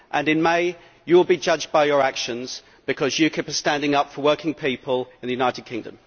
In May you will be judged by your actions, because UKIP is standing up for working people in the United Kingdom.